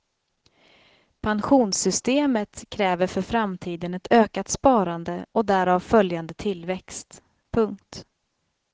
Pensionssystemet kräver för framtiden ett ökat sparande och därav följande tillväxt. punkt